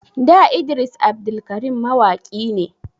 Da Idris Abdulkarim mawaki ne